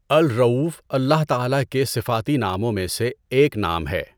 اَلرَّؤُوف اللہ تعالیٰ کے صفاتی ناموں میں سے ایک نام ہے۔